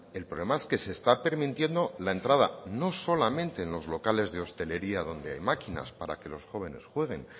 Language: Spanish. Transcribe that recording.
el problema es que se está permitiendo la entrada no solamente en los locales de hostelería donde hay máquinas para que los jóvenes jueguen